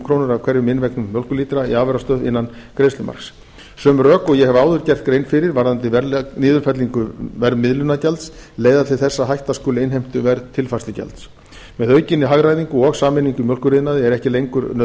krónur af hverjum innvegnum mjólkurlítra í afurðastöð innan greiðslumarks sömu rök og ég hef áður gert grein fyrir varðandi niðurfellingu verðmiðlunargjalds leiða til þess að hætta skuli innheimtu verðtilfærslugjalds að aukinni hagræðingu og sameiningu í mjólkuriðnaði er ekki lengur